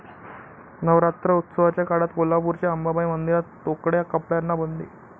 नवरात्रोत्सवाच्या काळात कोल्हापूरच्या अंबाबाई मंदिरात तोकड्या कपड्यांना बंदी